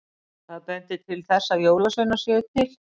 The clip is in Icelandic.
Hvað bendir til þess að jólasveinar séu til?